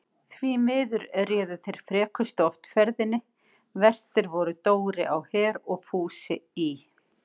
Því miður réðu þeir frekustu oft ferðinni, verstir voru Dóri á Her og Fúsi í